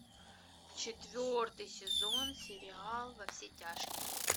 четвертый сезон сериала во все тяжкие